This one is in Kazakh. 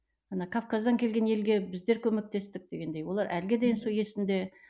ана кавказдан келген елге біздер көмектестік дегендей олар әліге дейін сол есінде